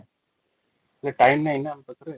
time ନାହି ନା ଆମ ପାଖେ |